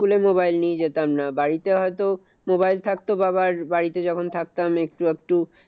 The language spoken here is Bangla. School এ mobile নিয়ে যেতাম না। বাড়িতে হয়তো mobile থাকতো বাবার বাড়িতে যখন থাকতাম একটু আধটু